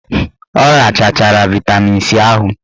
Ọ rachachara vaịtamin C ahụ.